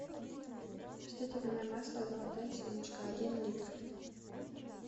растительное масло золотая семечка один литр